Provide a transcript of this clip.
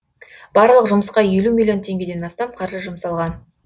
барлық жұмысқа елу миллион теңгеден астам қаржы жұмсалған